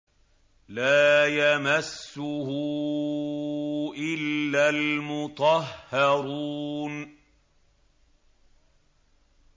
لَّا يَمَسُّهُ إِلَّا الْمُطَهَّرُونَ